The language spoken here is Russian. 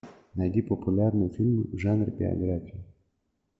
найди популярный фильм в жанре биография